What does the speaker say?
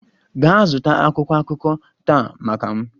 Gaa zụta akwụkwọ akụkọ taa maka m!